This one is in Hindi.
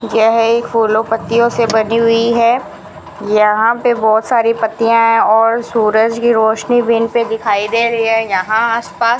यह एक फूलों पत्तियों से बनी हुई है यहां पे बहोत सारी पत्तियां हैं और सूरज की रोशनी भी इनपे दिखाई दे रही है यहां आस पास --